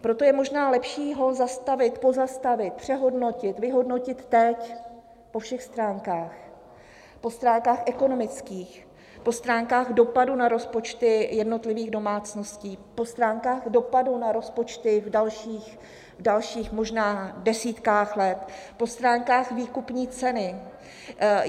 Proto je možná lepší ho zastavit, pozastavit, přehodnotit, vyhodnotit teď po všech stránkách, po stránkách ekonomických, po stránkách dopadu na rozpočty jednotlivých domácností, po stránkách dopadu na rozpočty v dalších možná desítkách let, po stránkách výkupní ceny.